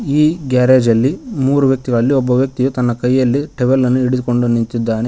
ಈ ಗ್ಯಾರೇಜ್ ಅಲ್ಲಿ ಮೂರು ವ್ಯಕ್ತಿಗಳಲ್ಲಿ ಒಬ್ಬ ವ್ಯಕ್ತಿಯು ತನ್ನ ಕೈಯಲ್ಲಿ ಟವೆಲ್ ಅನ್ನು ಇಡಿದುಕೊಂಡು ನಿಂತಿದ್ದಾನೆ ಮಾ--